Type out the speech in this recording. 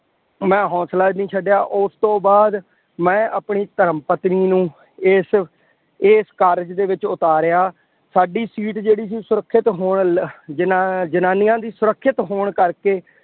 ਮੈਂ ਹੌਂਸਲਾ ਨਹੀਂ ਛੱਡਿਆ। ਉਸ ਤੋਂ ਬਾਅਦ ਮੈਂ ਆਪਣੀ ਧਰਮ ਪਤਨੀ ਨੂੰ ਇਸ ਇਸ ਕਾਰਜ ਦੇ ਵਿੱਚ ਉਤਾਰਿਆਂ। ਸਾਡੀ ਸੀਟ ਜਿਹੜੀ ਸੀ ਸੁਰੱਖਿਅਤ ਹੋਣ ਲੱ ਜਨਾ ਜਨਾਨੀਆਂ ਦੀ ਸੁਰੱਖਿਅਤ ਹੋਣ ਕਰਕੇ